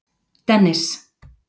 Dennis